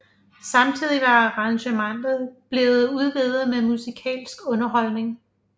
Samtidig var arrangementet blevet udvidet med musikalsk underholdning